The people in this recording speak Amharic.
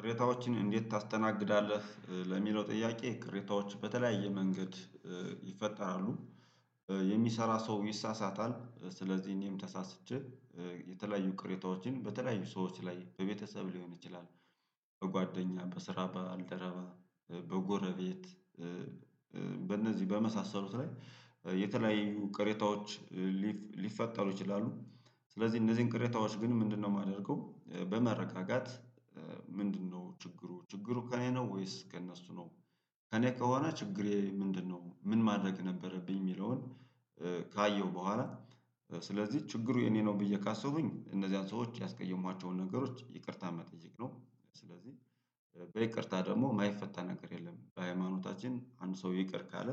ቅሬታዎችን እንዴት ታስተናግዳለህ ለሚለው ጥያቄ ቅሬታዎች በተለያየ መንገድ ይፈጠራሉ። የሚሰራ ሰው ይሳሳታል ስለዚህ እኔም ተሳስቼ የተለያዩ ቅሬታዎችን በተለያዩ ሰዎች ላይ በቤተሰብ ሊሆን ይችላል በጓደ፣ በስራ ባልደረባ፣ በጎረቤት በእነዚህ በመሳሰሉት ላይ የተለያዩ ቀሬታዎች ሊፈጠሩ ይችላሉ። ስለዚህ እነዚህን ቅሬታዎች ግን ምንድነው ማደርገው በመረጋጋት ምንድነው ችግሩ ችግሩ ከእኔ ነው ወይስ ከእነሱ ነው ከእኔ ከሆነ ችግሬ ምንድነው ምን ማድረግ ነበረብኝ ሚለውን ካየሁ በኋላ ስለዚህ ችግሩ የኔ ነው ብዬ ካሰቡኝ እነዚህን ሰዎች ያስቀየሟቸውን ነገሮች ይቅርታ መጠየቅ ነው ስለዚህ በይቅርታ ደግሞ ማይፈታ ነገር የለም በሃይማኖታችን አንድ ሰው ይቅር ካለ